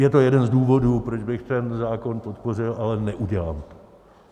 Je to jeden z důvodů, proč bych ten zákon podpořil, ale neudělám to.